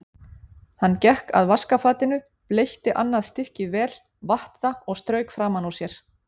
Hann gekk að vaskafatinu, bleytti annað stykkið vel, vatt það og strauk framan úr sér.